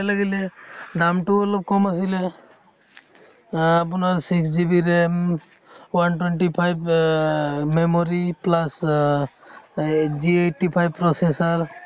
লাগিলে, দামতোও অলপ কম আছিলে আহ আপোনাৰ six GB RAM, one twenty five ৱা আহ memory plus অহ এই g eighty five processor